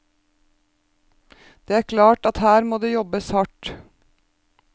Det er klart at her må det jobbes hardt.